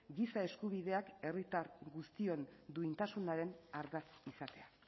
giza eskubideak herritar guztion duintasunaren ardatz izatea